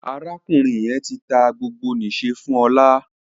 Arákùnrin yén tí tá gbogbo n'iṣẹ fún Ola